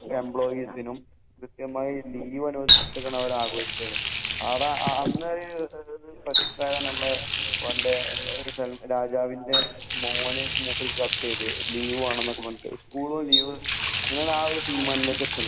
എംപ്ലോയീസിനും കൃത്യമായി ലീവ് അനുവദിച്ചാണ് അവർ ആഘോഷിച്ചത്